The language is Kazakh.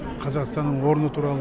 қазақстанның орны туралы